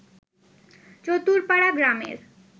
চতুরপাড়া গ্রামের